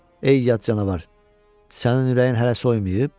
Ey yad canavar, sənin ürəyin hələ soymayıb?